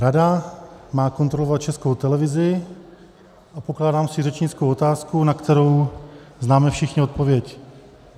Rada má kontrolovat Českou televizi a pokládám si řečnickou otázku, na kterou známe všichni odpověď.